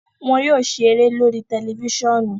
Wọn yóò ṣeré lori tẹlifisiọnu.